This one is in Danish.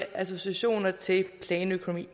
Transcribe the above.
associationer til planøkonomi vi